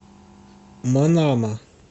манама